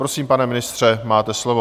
Prosím, pane ministře, máte slovo.